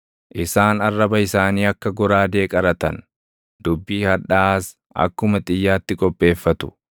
Isaan arraba isaanii akka goraadee qaratan; dubbii hadhaaʼaas akkuma xiyyaatti qopheeffatu.